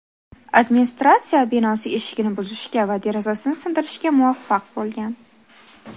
Administratsiya binosi eshigini buzishga va derazasini sindirishga muvaffaq bo‘lgan.